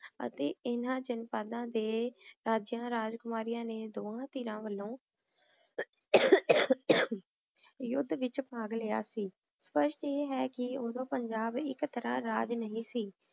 ਅਤੀ ਇਨਾਂ ਜਨਪਦਾਂ ਦੇ ਰਾਜ੍ਯਾਂ ਰਾਜਕੁਮਾਰਿਯਾਂ ਨੇ ਦੋਵਾਂ ਤੀਰਾਂ ਵਲੋਂ ਯੁਧ ਵਿਚ ਭਾਗ ਲਾਯਾ ਸੀ ਓਦੋਂ ਪੰਜਾਬ ਏਇਕ ਤਰਹ ਰਾਜ ਨਹੀ ਸੀ